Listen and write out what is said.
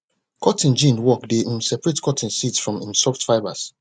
cotton gin work dey um separate cotton seeds from im soft fibres